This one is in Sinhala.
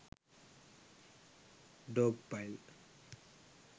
dog pile